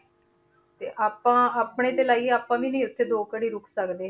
ਤੇ ਆਪਾਂ ਆਪਣੇ ਤੇ ਲਾਈਏ ਆਪਾਂ ਵੀ ਨੀ ਉੱਥੇ ਦੋ ਘੜੀ ਰੁੱਕ ਸਕਦੇ।